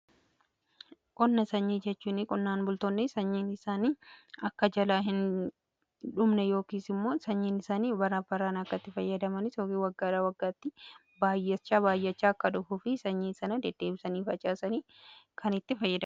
Qonna sanyii jechuu qonnaan bultoonni sanyiin isaanii akka jalaa hin dhumne yookiis immoo sanyiin isaanii bara baraan akkatti fayyadaman tokko waggaadhaa waggaatti baayyachaa akka dhufuuf fi sanyii sana deddeebisanii facaasanii kan itti fayyadamanidha.